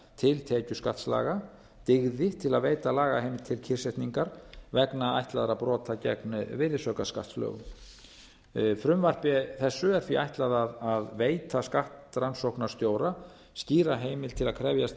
til tekjuskattslaga dygði til að veita lagaheimild til kyrrsetningar vegna ætlaðra brota gegn virðisaukaskattslögum frumvarpi þessu er því ætlað að veita skattrannsóknarstjóra skýra heimild til að krefjast